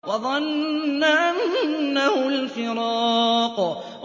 وَظَنَّ أَنَّهُ الْفِرَاقُ